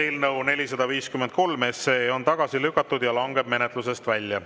Eelnõu 453 on tagasi lükatud ja langeb menetlusest välja.